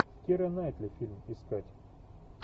кира найтли фильм искать